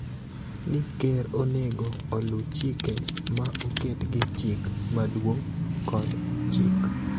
ni Ker onego oluw chike ma oket gi Chik Maduong� kod chik.